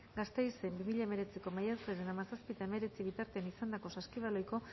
gasteizen bi mila hemeretziko maiatzaren hamazazpi eta hemeretzi bitartean izandako saskibaloiko